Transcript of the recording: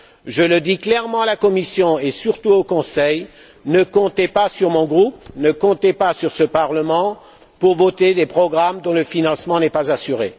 Je le dis clairement à la Commission et surtout au Conseil ne comptez pas sur mon groupe, ne comptez pas sur ce Parlement pour voter des programmes dont le financement n'est pas assuré.